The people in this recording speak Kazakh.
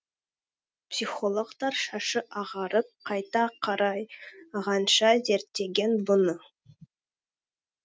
психологтар шашы ағарып қайта қарайғанша зерттеген бұны